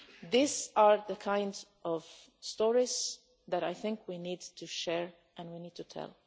These are the kind of stories that I think we need to share and we need to tell.